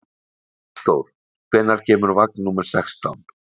Hallþór, hvenær kemur vagn númer sextán?